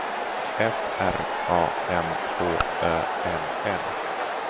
F R A M H Ö L L